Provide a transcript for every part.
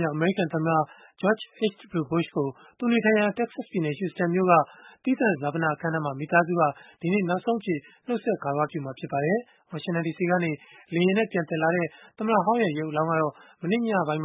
မြောက် အမေရိကန်သမ္မတ George H.W. Bush ကို သူနေထိုင်ရာ Texas ပြည်နယ်၊ Houston မြို့က သီးသန့် ဈာပနအခမ်းအနားမှာ မိသားစုက ဒီကနေ့ နောက်ဆုံးအဖြစ် နှုတ်ဆက်ဂါရဝပြုမှာ ဖြစ်ပါတယ်။ ဝါရှင်တန်ဒီစီကနေ လေယာဉ်နဲ့ ပြန်သယ်လာတဲ့ သမ္မတဟောင်းရဲ့ ရုပ်အလောင်းကတော့ မနေ့ညနေပိုင်း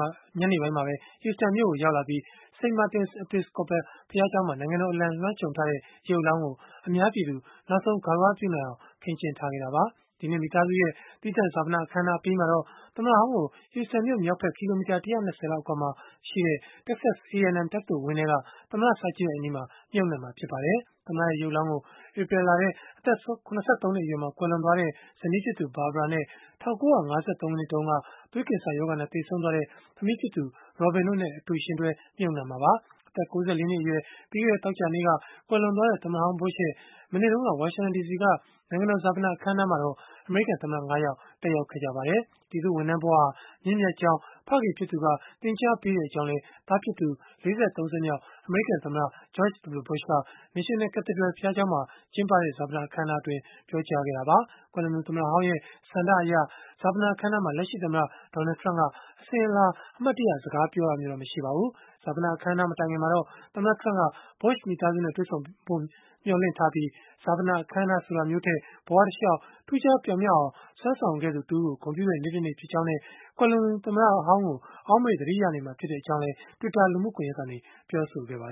မှာပဲ Houston မြို့ကို ရောက်လာခဲ့ပြီး၊ St. Martin's Episcopal ဘုရားကျောင်းမှာ နိုင်ငံတော်အလံ လွှမ်းခြုံထားတဲ့ ရုပ်အလောင်းကို အများပြည်သူ နောက်ဆုံးဂါရဝပြုနိုင်အောင် ခင်းကျင်းထားခဲ့တာပါ။ ဒီကနေ့ မိသားစုရဲ့ သီးသန့်ဈာပနအခမ်းအနား အပြီးမှာတော့ သမ္မတဟောင်းကို Houston မြို့မြောက်ဖက် ကီလိုမီတာ ၁၂၀ လောက် အကွာမှာရှိတဲ့Texas A&M တက္ကသိုလ်ဝင်းထဲက သမ္မတစာကြည့်တိုက်အနီးမှာ မြှုပ်နှံမှာ ဖြစ်ပါတယ်။ သမ္မတရဲ့ ရုပ်အလောင်းကိုတော့ ဧပြီလထဲ အသက် ၇၃ နှစ်အရွယ်မှာ ကွယ်လွန်သွားတဲ့ ဇနီးဖြစ်သူ Barbara နဲ့ ၁၉၅၃ ခုနှစ်တုန်းက သွေးကင်ဆာရောဂါနဲ့ သေဆုံးသွားတဲ့ သမီးဖြစ်သူ Robin တို့နဲ့ အတူယှဉ်တွဲ မြှုပ်နှံမှာပါ။ အသက် ၉၄ နှစ်အရွယ်၊ ပြီးခဲ့တဲ့ သောကြာနေ့က ကွယ်လွန်သွားတဲ့ သမ္မတဟောင်း Bush ရဲ့ မနေ့တုန်းက ဝါရှင်တန်ဒီစီက နိုင်ငံတော်ဈာပန အခမ်းအနားမှာတော့ အမေရိကန်သမ္မတ ၅ ယောက် တက်ရောက်ခဲ့ကြပါတယ်။ ပြည်သူ့ဝန်ထမ်းဘဝဟာ မြင့်မြတ်ကြောင်း ဖခင်ဖြစ်သူက သင်ကြားခဲ့ကြောင်းလည်း သားဖြစ်သူ ၄၃ ဆက်မြောက် အမေရိကန်သမ္မတ George W.Bush က National Cathedral ဘုရားကျောင်းမှာ ကျင်းပခဲ့တဲ့ ဈာပနအခမ်းအနားမှာ ပြောကြားခဲ့တာပါ။ ကွယ်လွန်သူ သမ္မတဟောင်းရဲ့ ဆန္ဒအရ ဈာပနအခမ်းအနားမှာ လက်ရှိသမ္မတ Donald Trump က အစဉ်အလာ အမှတ်တရ စကားပြောတာမျိုးတော့ မရှိခဲ့ပါဘူး။ ဈာပနအခမ်းအနား မတိုင်ခင်မှာတော့ သမ္မတ Trump က Bush မိသားစုနဲ့ တွေ့ဆုံဖို့ မျှော်လင့်ထားပြီး၊ ဈာပန အခမ်းအနားဆိုတာမျိုးထက်၊ ဘဝတလျှောက် ထူးခြားပြောင်မြောက်အောင် စွမ်းဆောင်ခဲ့သူတဦးကို ဂုဏ်ပြုတဲ့ နေ့တနေ့ ဖြစ်ကြောင်းနဲ့ ကွယ်လွန်သူ သမ္မတဟောင်းကို အောက်မေ့ သတိရနေမှာ ဖြစ်ကြောင်းလည်း Twitter လူမှုကွန်ရက်ကနေ ပြောဆိုခဲ့တာပါ